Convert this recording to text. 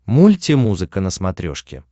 мульти музыка на смотрешке